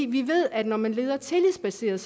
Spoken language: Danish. vi ved at når man leder tillidsbaseret